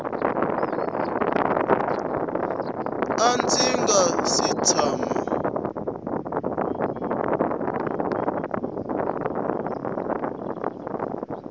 a ndzi nga si tshama